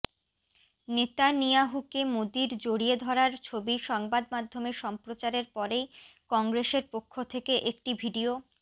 নেতানিয়াহুকে মোদীর জড়িয়ে ধরার ছবি সংবাদ মাধ্যমে সম্প্রচারের পরেই কংগ্রেসের পক্ষ থেকে একটি ভিডিও